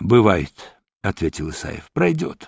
бывает ответил исаев пройдёт